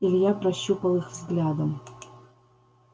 илья прощупал их взглядом